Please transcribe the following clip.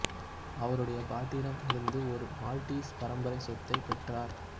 அவருடைய பாட்டியிடம் இருந்து ஒரு மால்டீஸ் பரம்பரை சொத்தையும் பெற்றார்